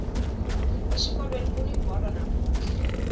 exikolweni kuni bolo namuntlha